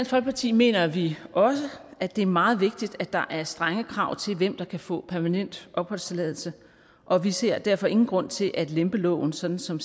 folkeparti mener vi også at det er meget vigtigt at der er strenge krav til hvem der kan få permanent opholdstilladelse og vi ser derfor ingen grund til at lempe loven sådan som